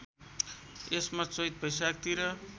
यसमा चैत वैशाखतिर